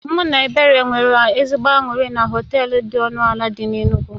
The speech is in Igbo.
Mụ na Ebere nwere ezigbo anụrị na họtel dị ọnụ ala dị n'Enugwu